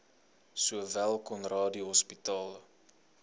sowel conradie hospitaal